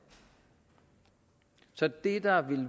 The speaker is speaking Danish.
så det der